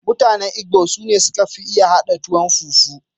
Mutane Igbo sune suka fi iya haɗa tuwon fufu.